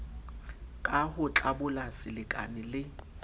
ka ho tlabola selekane le